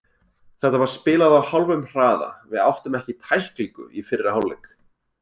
Þetta var spilað á hálfum hraða, við áttum ekki tæklingu í fyrri hálfleik.